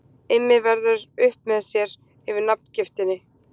Immi verður upp með sér yfir nafngiftinni.